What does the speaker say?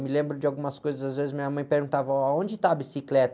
Me lembro de algumas coisas, às vezes minha mãe perguntava, aonde está a bicicleta?